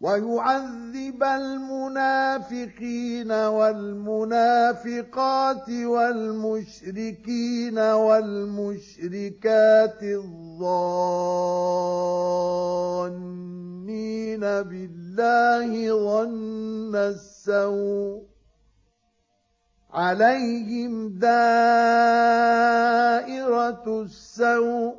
وَيُعَذِّبَ الْمُنَافِقِينَ وَالْمُنَافِقَاتِ وَالْمُشْرِكِينَ وَالْمُشْرِكَاتِ الظَّانِّينَ بِاللَّهِ ظَنَّ السَّوْءِ ۚ عَلَيْهِمْ دَائِرَةُ السَّوْءِ ۖ